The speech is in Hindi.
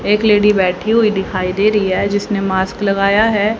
एक लेडी बैठी हुई दिखाई दे रही है जिसने मास्क लगाया है।